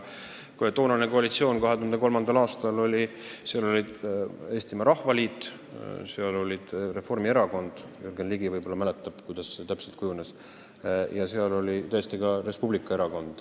Toonases 2003. aasta koalitsioonis olid Eestimaa Rahvaliit, Reformierakond – Jürgen Ligi võib-olla mäletab, kuidas see täpselt kujunes – ja tõesti ka Res Publica.